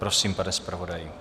Prosím, pane zpravodaji.